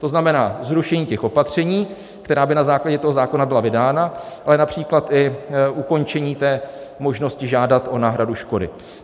To znamená zrušení těch opatření, která by na základě toho zákona byla vydána, ale například i ukončení té možnosti žádat o náhradu škody.